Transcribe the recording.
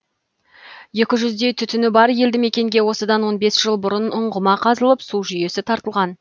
екі жүздей түтіні бар елді мекенге осыдан он бес жыл бұрын ұңғыма қазылып су жүйесі тартылған